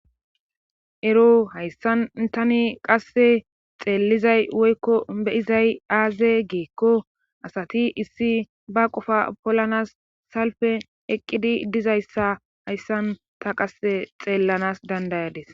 Ero hayssan tani qasse xeellizay woykko beyizay aaze geekko asati issi ba qofa polanas salfe eqqidi dizayssa hayssan ta qasse xeellanas dandayades.